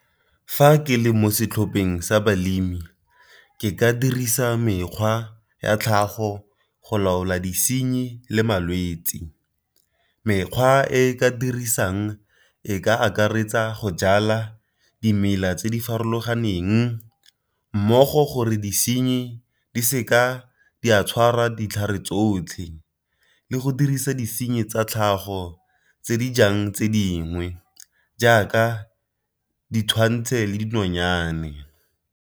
Fa ke le mo setlhopheng sa balemi ke ka dirisa mekgwa ya tlhago go laola disenyi le malwetsi. Mekgwa e ka dirisang e ka akaretsa go jala dimela tse di farologaneng mmogo gore disenyi di seka di a tshwara ditlhare tsotlhe, le go dirisa disenyi tsa tlhago tse di jang tse dingwe jaaka le dinonyane.